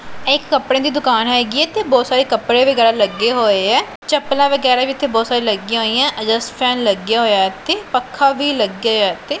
ਇਹ ਇੱਕ ਕਪੜਿਆਂ ਦੀ ਦੁਕਾਨ ਹਿਗੀ ਹੈ ਇੱਥੇ ਬਹੁਤ ਸਾਰੇ ਕੱਪੜੇ ਵਗੈਰਾ ਲੱਗੇ ਹੋਇਆਂ ਚੱਪਲਾਂ ਵਗੈਰਾ ਵੀ ਇੱਥੇ ਬਹੁਤ ਸਾਰੀਆਂ ਲੱਗੀਆਂ ਹੋਈਆਂ ਐਗਜ਼ਾਸਟ ਫੈਨ ਲੱਗਿਆ ਹੋਇਆ ਇੱਥੇ ਪੱਖਾ ਵੀ ਲੱਗਿਆ ਹੋਇਆ ਇੱਥੇ।